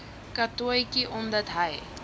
katotjie omdat hy